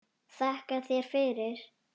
Þakka þér fyrir.